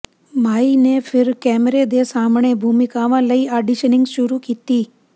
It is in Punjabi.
ਮਾਈ ਨੇ ਫਿਰ ਕੈਮਰੇ ਦੇ ਸਾਹਮਣੇ ਭੂਮਿਕਾਵਾਂ ਲਈ ਆਡੀਸ਼ਨਿੰਗ ਸ਼ੁਰੂ ਕੀਤੀ